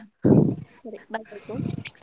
ಸರಿ ಬರ್ಬೇಕು .